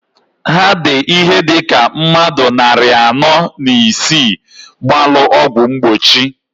Ha di ihe dika mmadu nnarị anọọ na isii gbalụ ọgwụ mgbochi.